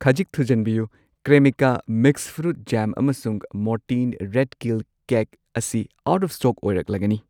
ꯈꯖꯤꯛ ꯊꯨꯖꯟꯕꯤꯌꯨ, Cremica mix fruit jam ꯑꯃꯁꯨꯡ ꯃꯣꯔꯇꯤꯟ ꯔꯦꯠ ꯀꯤꯜ ꯀꯦꯛ ꯑꯁꯤ ꯑꯥꯎꯠ ꯑꯣꯐ ꯁ꯭ꯇꯣꯛ ꯑꯣꯏꯔꯛꯂꯒꯅꯤ꯫